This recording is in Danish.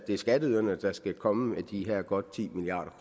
skatteyderne der skal komme med de her godt ti milliard